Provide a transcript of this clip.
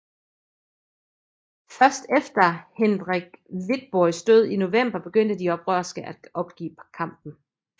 Først efter Hendrik Witboois død i november begyndte de oprørske at opgive kampen